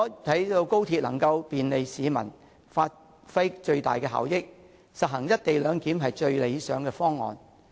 為了讓高鐵能夠便利市民，發揮最大的效益，實行"一地兩檢"是最理想的方案。